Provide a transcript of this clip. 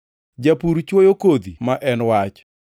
Japur chwoyo kodhi ma en Wach.